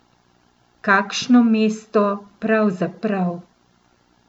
Kakšno mesto, pravzaprav!